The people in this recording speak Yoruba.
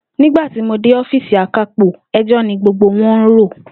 Nígba tí mo dé ó̩fíìsì Akápò, e̩jó̩ mi gbogbo wo̩n ń rò